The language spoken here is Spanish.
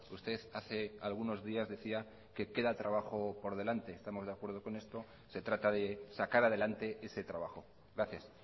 usted hace algunos días decía que queda trabajo por delante estamos de acuerdo con esto se trata de sacar adelante ese trabajo gracias